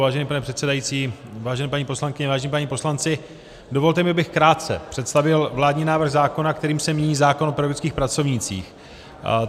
Vážený pane předsedající, vážené paní poslankyně, vážení páni poslanci, dovolte mi, abych krátce představil vládní návrh zákona, kterým se mění zákon o pedagogických pracovnících.